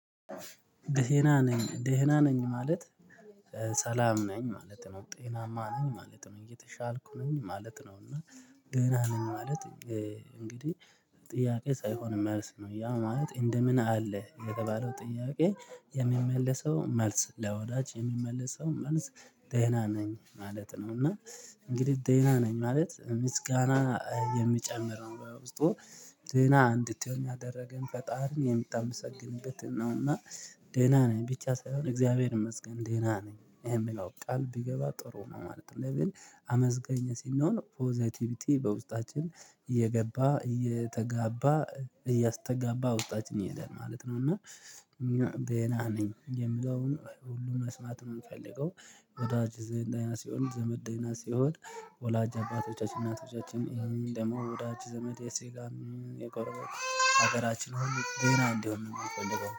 ደህና ነኝ ደህና ነኝ ማለት ሰላም ነኝ ማለት ነው ጤናማ ነኝ ማለት ነው እየተሻልኩ ነኝ ማለት ነው። እና ደህና ምን ማለት እንግዲህ ጥያቄ ሳይሆን መልስ ነው ያ ማለት እንደምን አለ የተባለው ጥያቄ የሚመለሰው መልስ ለወዳጅ የሚመለሰው ማለት ደህና ነኝ ማለት ነው። እና እንግዲህ ደህና ነኝ ማለት ምስጋና የሚጨምረው በውስጡ ደህና እንድትሆን ያደረገን ፈጣርን የምታመሰግንበትን ነው። እና ደህና ነኝ ብቻ ሳይሆን እግዚአብሔር ይመስገን ደህና ነኝ ይሄ የምለው ቃል ቢገባ ጥሩ ነው ማለት ነው። ለቤል አመስገኝ ሲሆን ፖዘቲቪቲ በውስጣችን እየገባ እየተጋባ እያስተጋባ ወጣት ነው የሄደን ማለት ነው። እና ደና ነኝ የምለውን ሁሉም መስማት ነው የምፈልገው ወዳጅ ዘመድ ሲሆን ዘመድ ሲሆን ወላጅ አባቶቻችን እናቶቻችን ይሄን ደግሞ ወዳጅ ዘመድ የስጋን የቆረበ ሀገራችን ሁሉ ደህና እንዲሆን ነው የሚቆልጠው